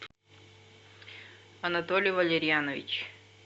анатолий валерианович